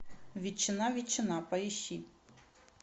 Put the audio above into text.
ветчина ветчина поищи